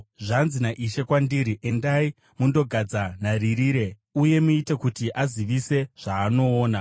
Zvanzi naIshe kwandiri: “Endai, mundogadza nharirire uye muite kuti azivise zvaanoona.